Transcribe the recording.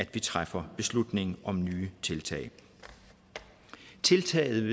vi træffer beslutningen om nye tiltag tiltaget